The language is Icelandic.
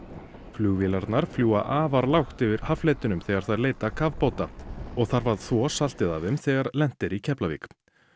flugvélarnar fljúga afar lágt yfir haffletinum þegar þær leita kafbáta og þarf að þvo saltið af þeim þegar lent er í Keflavík